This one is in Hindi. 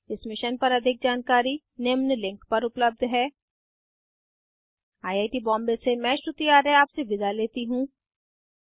इस मिशन पर अधिक जानकारी निम्न लिंक पर उपलब्ध है 1 आई आई टी बॉम्बे से मैं श्रुति आर्य आपसे विदा लेती हूँ